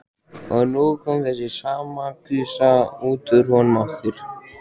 Og nú kom þessi sama gusa út úr honum aftur.